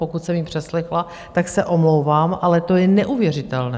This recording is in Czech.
Pokud jsem ji přeslechla, tak se omlouvám, ale to je neuvěřitelné.